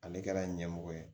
Ale kɛra ɲɛmɔgɔ ye